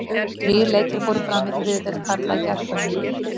Þrír leikir fóru fram í þriðju deild karla í gærkvöld.